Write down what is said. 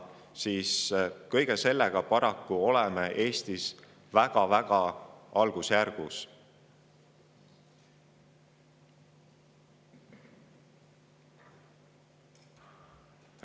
Neid peaks arvesse võtma.